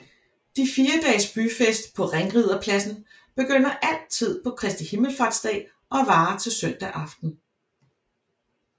De fire dages byfest på Ringriderpladsen begynder altid på Kristi himmelfartsdag og varer til søndag aften